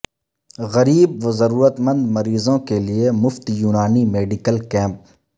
غریب و ضرورتمند مریضوں کے لئے مفت یونانی میڈیکل کیمپ